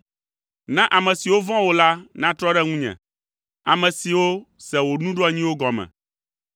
Na ame siwo vɔ̃a wò la natrɔ ɖe ŋunye, ame siwo se wò nuɖoanyiwo gɔme.